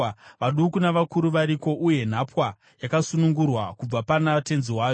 Vaduku navakuru variko, uye nhapwa yakasunungurwa kubva pana tenzi wayo.